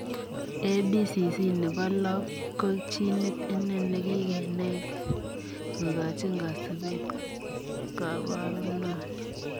ABCC nepo loo ko ginit inegei nekikenai kokachiin kasupeet kabaruno nii.